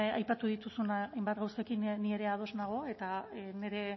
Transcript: aipatu dituzun hainbat gauzekin ni ere ados nago eta nire